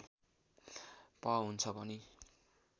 प हुन्छ भनी